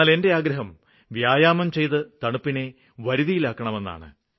എന്നാല് എന്റെ ആഗ്രഹം വ്യായാമം ചെയ്ത് തണുപ്പിനെ വരുതിയിലാക്കണമെന്നാണ്